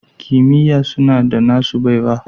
Kimiyya suna da nasu baiwa